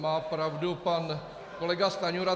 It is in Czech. Má pravdu pan kolega Stanjura.